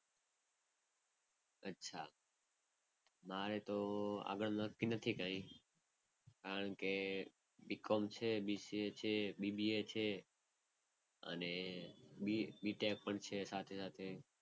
અચ્છા. મારે તો આગળ નક્કી નથી કઈ. કારણ કે BCOM છે, BCA છે, BBA છે અને BTECH પણ છે સાથે સાથે.